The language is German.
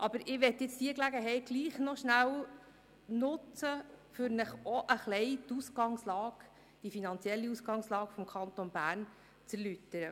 Aber ich möchte diese Gelegenheit doch nutzen, um Ihnen auch ein wenig die finanzielle Ausgangslage des Kantons Bern zu erläutern.